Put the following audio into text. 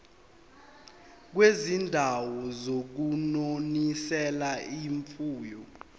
kwizindawo zokunonisela imfuyo